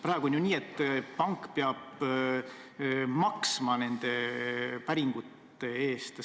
Praegu on nii, et pank peab nende päringute eest maksma.